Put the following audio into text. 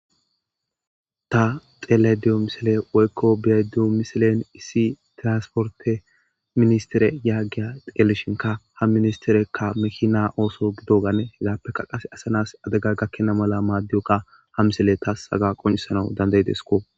ta xelayda diyo misile woykko be'ayda diyo misilen issi tiransporte ministire yaageya delishinka ha ministerekka mekina ooso gidogane hegappeka qase asanas adega gakkena mala maaddiyokka ha misile taas saga qoncisanawu dandayidesko